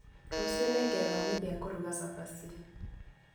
Rũciũ nĩngethomithia kũruga cabaci